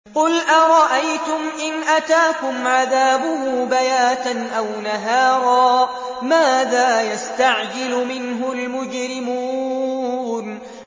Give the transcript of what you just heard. قُلْ أَرَأَيْتُمْ إِنْ أَتَاكُمْ عَذَابُهُ بَيَاتًا أَوْ نَهَارًا مَّاذَا يَسْتَعْجِلُ مِنْهُ الْمُجْرِمُونَ